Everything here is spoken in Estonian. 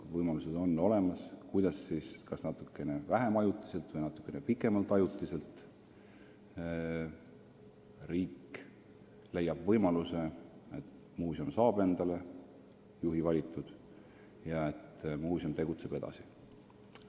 On olemas seaduslikud hoovad, kuidas muuseum – kas ajutiseks või natukene vähem ajutiseks – saab endale juhi valitud ja tegutseb edasi.